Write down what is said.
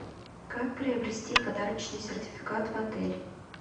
как приобрести подарочный сертификат в отель